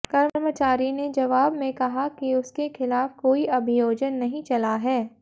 कर्मचारी ने जवाब में कहा कि उसके खिलाफ कोई अभियोजन नहीं चला है